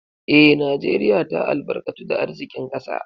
Eh, Najeriya ta albarkatu da arzikin kasa.